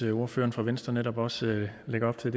ordføreren for venstre netop også lægger op til